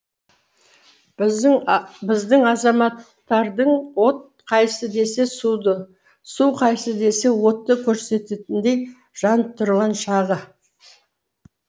біздің азаматтардың от қайсы десе суды су қайсы десе отты көрсететіндей жанып тұрған шағы